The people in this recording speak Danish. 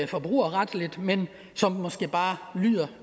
forbrugerretligt men som måske bare lyder